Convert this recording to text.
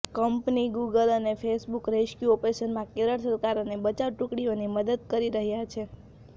company Google અને Facebook rescue ઓપરેશનમાં કેરળ સરકાર અને બચાવ ટૂકડીઓની મદદ કરી રહ્યા છે